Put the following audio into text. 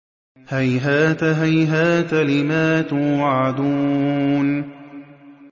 ۞ هَيْهَاتَ هَيْهَاتَ لِمَا تُوعَدُونَ